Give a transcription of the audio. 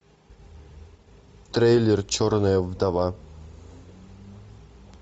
трейлер черная вдова